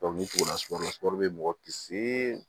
ni tugula sun be mɔgɔ kisi